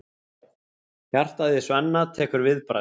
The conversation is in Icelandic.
Hjartað í Svenna tekur viðbragð.